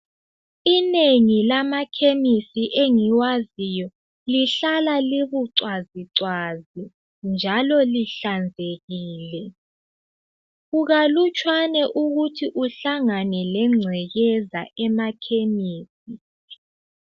Inengi lamakemesi engiwaziyo lihlala libucwazicwazi njalo lihlanzekile , kukalutshwane ukuthi uhlangane lengcekeza emakemesi.